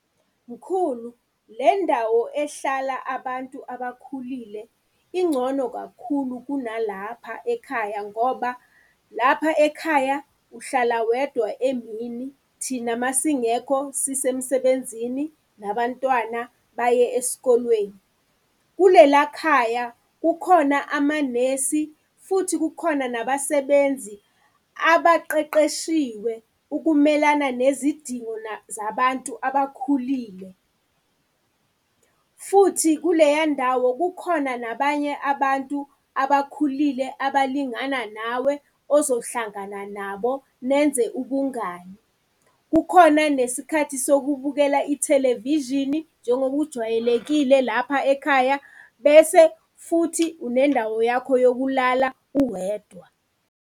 Mkhulu, le ndawo ehlala abantu abakhulile ingcono kakhulu kuna lapha ekhaya ngoba lapha ekhaya uhlala wedwa emini, thina masingekho sisemsebenzini, nabantwana baye eskolweni. Kulela khaya, kukhona amanesi futhi kukhona nabasebenzi abaqeqeshiwe ukumelana nezidingo zabantu abakhulile. Futhi, kuleya ndawo kukhona nabanye abantu abakhulile abalingana nawe, ozohlangana nabo nenze ubungani. Kukhona nesikhathi sokubhukhela ithelevishini njengokujwayelekile lapha ekhaya, bese futhi unendawo yakho yokulala uwedwa.